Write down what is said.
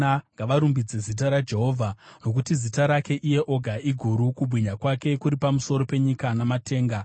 Ngavarumbidze zita raJehovha, nokuti zita rake iye oga iguru; kubwinya kwake kuri pamusoro penyika namatenga.